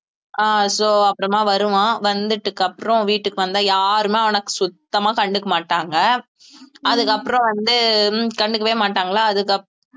அஹ் so அப்புறமா வருவான் வந்ததுக்கு அப்புறம் வீட்டுக்கு வந்தா யாருமே அவனை சுத்தமா கண்டுக்க மாட்டாங்க அதுக்கப்புறம் வந்து கண்டுக்கவே மாட்டாங்களா அதுகப்~